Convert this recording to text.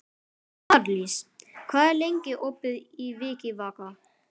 Marlís, hvað er lengi opið í Vikivaka?